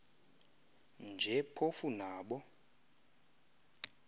nje phofu nabo